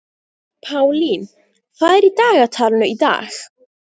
Pálín, hvað er í dagatalinu í dag?